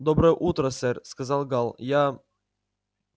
доброе утро сэр сказал гаал я